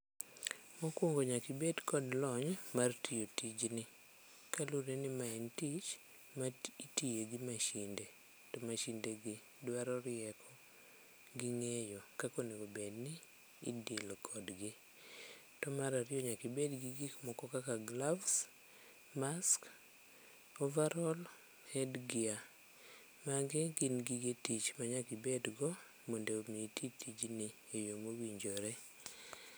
Mokwongo nyakibed kod lony mar tiyo tijni kaluwore ni mae en tich ma itiye gi mashine, to mashinde gi dwaro rieko gi ng'eyo kakonegobedni idil kodgi. To marariyo nyakibed gi gik moko kaka gloves, mask, overall, head gear. Magi gin gige tich ma nyakibedgo mondo mi iti tijni e yo mowinjore.